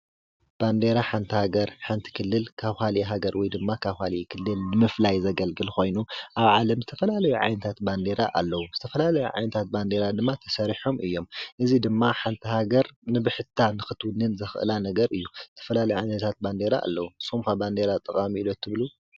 ባንዴራ ሓንቲ ሃገር ሓንቲ ክልል ካብ ካሊእ ሃገር ወይ ድማ ካብ ካሊእ ክልል ንምፍላይ ዘገልግል ኮይኑ ኣብ ዓለም ዝተፈላለዩ ዓይነታት ባንዴራ አለው። ዝተፈላለዩ ዓይነታት ባንዴራ ድማ ተሰራሖም እዮም። እዙይ ድማ ሓንቲ ሃገር ንብሕታ ንኽትውንን ዘኽእላ ነገር እዩ። ዝተፈላለዩ ዓይነታት ባንዴራ አለው። ንስኹም ኸ ባንዴራ ጠቃሚ እዩ ዶ ትብሉ?